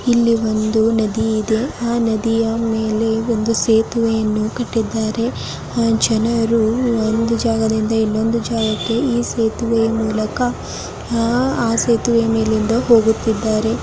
ಇಲ್ಲಿ ಒಂದು ನದಿ ಇದೆ ಆ ನದಿಯ ಮುಂದೆ ಒಂದು ಸೇತುವೆಯನ್ನು ಕಟ್ಟಿದ್ದಾರೆ ಅಲ್ಲಿ ಜನರು ಒಂದು ಜಾಗದಿಂದ ಇನ್ನೊಂದು ಜಾಗಕ್ಕೆ ಈ ಸೇತುವೆಯ ಮೂಲಕ ಆ ಸೇತುವೆಯ ಮೇಲೆ ಹೋಗುತ್ತಿದ್ದಾರೆ.